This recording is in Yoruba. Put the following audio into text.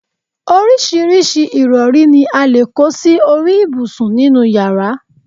oríṣiríṣi ìrọ̀rí ni a lè kó sí orí ibùsùn nínú yàrá